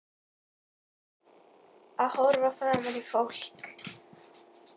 Að horfa framan í fólk.